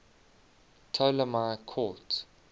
ptolemaic court